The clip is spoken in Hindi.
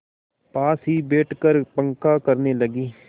पास ही बैठकर पंखा करने लगी